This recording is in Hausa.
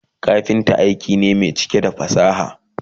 kafinta aiki ne Mai cike da fasaha